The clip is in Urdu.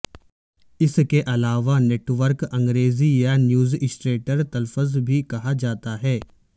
اس کے علاوہ نیٹ ورک انگریزی یا نیوزاسٹرٹر تلفظ بھی کہا جاتا ہے